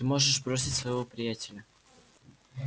ты можешь бросить своего приятеля